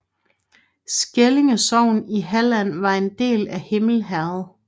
Skællinge sogn i Halland var en del af Himle herred